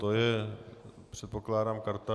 To je, předpokládám, karta...